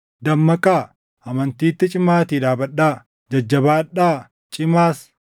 Dammaqaa; amantiitti cimaatii dhaabadhaa; jajjabaadhaa; cimaas.